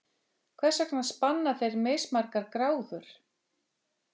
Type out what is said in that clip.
Hvers vegna spanna þeir mismargar gráður?